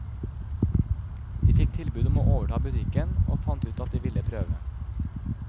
De fikk tilbud om å overta butikken, og fant ut at de ville prøve.